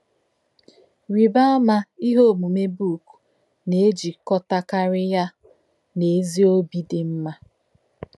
Rì̄bá̄ àmà̄ íhè̄ ọ̀mùmè̄ bụ́ụ̀k nā̄-èjí̄kọ̄tá̄kárí̄ yá̄ nā̄ ézì ọ̀bí̄ dì̄ mmà̄.